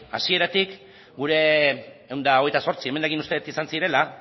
hasieratik gure ehun eta hogeita zortzi emendakin uste dut izan zirela